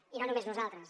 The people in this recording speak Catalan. i no només nosaltres